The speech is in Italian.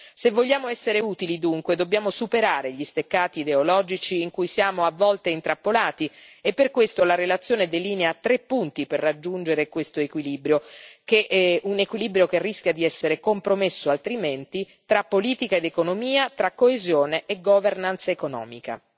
Se vogliamo essere utili, dunque, dobbiamo superare gli steccati ideologici in cui siamo a volte intrappolati, e per questo la relazione delinea tre punti per raggiungere questo equilibrio, un equilibrio che rischia di essere compromesso altrimenti tra politica ed economia, tra coesione e governance economica.